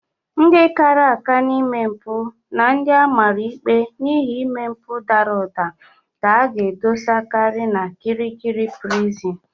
Ndị kara aka n'ime mpụ na ndị amara ikpe n'ihi ime mpụ dara ụda ka a ga-edosakari n'Kirikiri Prison.